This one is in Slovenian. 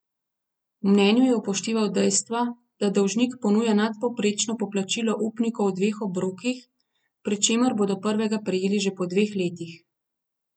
V mnenju je upošteval dejstva, da dolžnik ponuja nadpovprečno poplačilo upnikov v dveh obrokih, pri čemer bodo prvega prejeli že po dveh letih.